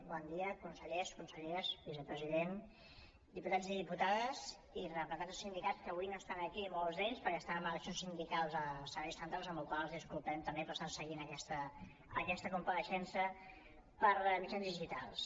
bon dia consellers conselleres vicepresident diputats i diputades i representants dels sindicats que avui no estan aquí molts d’ells perquè estan amb eleccions sindicals als serveis centrals amb la qual cosa els disculpem també però estan seguint aquesta compareixença per mitjans digitals